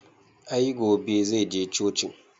I gobe zai je cocin